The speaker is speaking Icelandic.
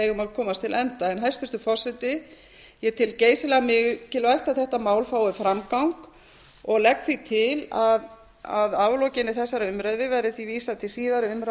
komast til enda hæstvirtur forseti ég tel geysilega mikilvægt að þetta mál fái framgang og legg því til að að aflokinni þessari umræðu verði því vísað